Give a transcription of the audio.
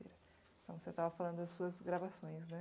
Então, você estava falando das suas gravações, né?